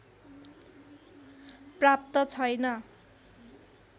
प्राप्त छैन